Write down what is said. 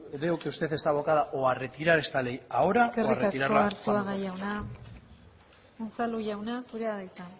veo que usted estaba abocada o a retirar esta ley ahora o a retirarla eskerrik asko arzuaga jauna unzalu jauna zurea da hitza